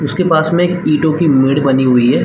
उसके पास में एक ईंटो की मेड़ बनी हुई है।